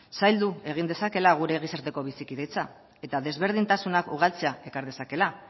zaildu egin dezakeela gure gizarteko bizikidetza eta desberdintasunak ugaltzea ekar dezakeela